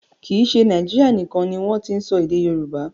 Kì í ṣe Nàíjírìa nìkan ni wọ́n ti n sọ èdè Yorùbá.